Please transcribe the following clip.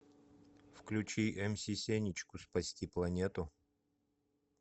включи мс сенечку спасти планету